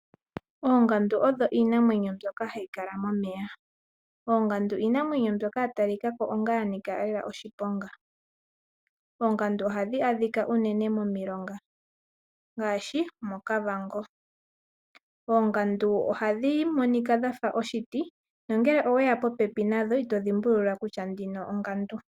Oongandu odho iinamwenyo mbyoka hayi kala momeya. Oongandu iinamwenyo mbyoka yatalikako onga yanika lela oshiponga. Oongandu ohadhi adhika uunene momilonga ngaashi, moKavango, oongandu ohadhi monika dhafa oshiti nangele oweya popepi nadho, ito dhimbulula kutya ndjino ongandu.